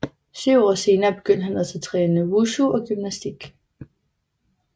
Syv år senere begyndte han også at træne Wushu og gymnastik